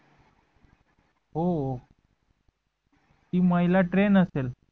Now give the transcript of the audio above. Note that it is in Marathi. हो ती महिला trained आशेल